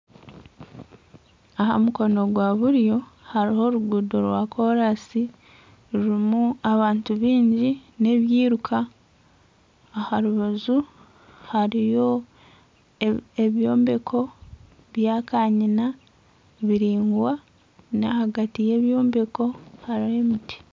Aha mukono gwa buryo hariho oruguudo rwa korasi rurimu abantu bingi n'ebyiruka aha rubaju hariyo ebyombeko bya kanyina biringwa nahagati yebyombeko hariho emiti.